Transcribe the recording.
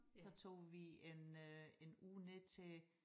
Så tog vi en øh en uge ned til